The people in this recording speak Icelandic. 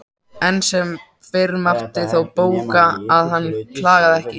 Enn sem fyrr mátti þó bóka að hann klagaði ekki.